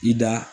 I da